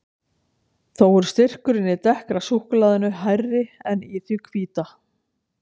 Þó er styrkurinn í dekkra súkkulaðinu hærri en í því hvíta.